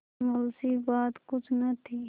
मुंशीबात कुछ न थी